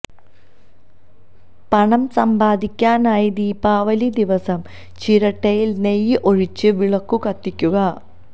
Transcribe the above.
പണം സമ്പാദിക്കാനായി ദീപാവലി ദിവസം ചിരട്ടയിൽ നെയ്യ് ഒഴിച്ച് വിളക്കു കത്തിക്കുക